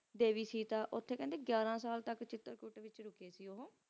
ਦੇਵੀ ਸੀਤਾ ਕਹਿੰਦੇ ਯੀਅਰ ਸਾਲ ਤਕ ਉਥੇ ਰੁੱਕੇ ਸੀ ਉਹ